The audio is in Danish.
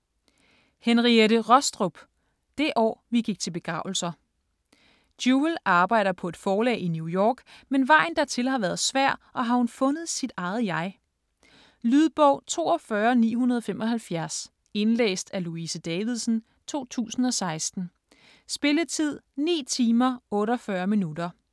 Rostrup, Henriette: Det år vi gik til begravelser Jewel arbejder på et forlag i New York, men vejen dertil har været svær og har hun fundet sit eget jeg? Lydbog 42975 Indlæst af Louise Davidsen, 2016. Spilletid: 9 timer, 48 minutter.